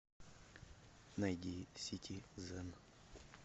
найди сити зен